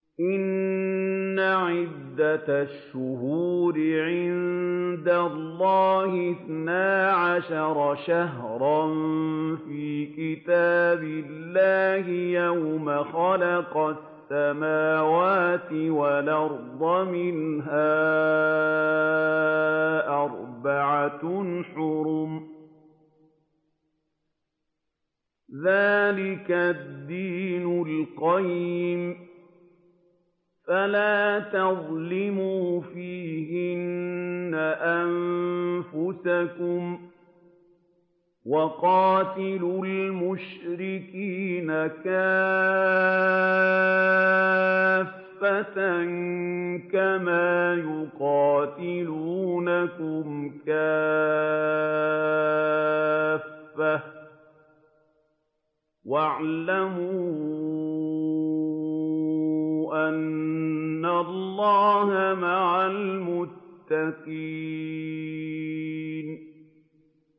إِنَّ عِدَّةَ الشُّهُورِ عِندَ اللَّهِ اثْنَا عَشَرَ شَهْرًا فِي كِتَابِ اللَّهِ يَوْمَ خَلَقَ السَّمَاوَاتِ وَالْأَرْضَ مِنْهَا أَرْبَعَةٌ حُرُمٌ ۚ ذَٰلِكَ الدِّينُ الْقَيِّمُ ۚ فَلَا تَظْلِمُوا فِيهِنَّ أَنفُسَكُمْ ۚ وَقَاتِلُوا الْمُشْرِكِينَ كَافَّةً كَمَا يُقَاتِلُونَكُمْ كَافَّةً ۚ وَاعْلَمُوا أَنَّ اللَّهَ مَعَ الْمُتَّقِينَ